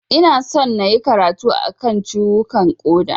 Ina son nayi karatu a kan ciwukan ƙoda.